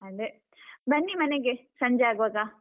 ಅದೇ ಬನ್ನಿ ಮನೆಗೆ ಸಂಜೆ ಆಗುವಾಗ.